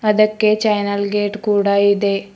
ಅದಕ್ಕೆ channel gate ಕೂಡ ಇದೆ.